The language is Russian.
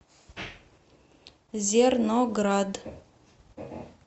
зерноград